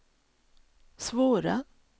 svåra